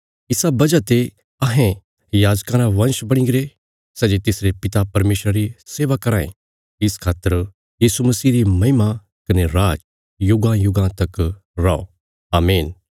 इसा वजह ते अहें याजकां रा वंश बणीगरे सै जे तिसरे पिता परमेशरा री सेवा कराँ ये इस खातर यीशु मसीह री महिमा कने राज युगांयुगां तक रौ आमीन